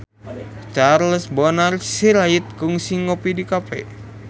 Charles Bonar Sirait kungsi ngopi di cafe